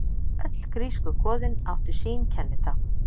Öll grísku goðin áttu sín kennitákn.